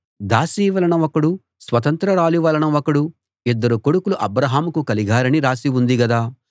దాసి వలన ఒకడు స్వతంత్రురాలి వలన ఒకడు ఇద్దరు కొడుకులు అబ్రాహాముకు కలిగారని రాసి ఉంది గదా